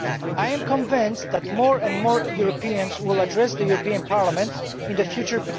I am convinced that more and more Europeans will address petitions to the European Parliament in the future.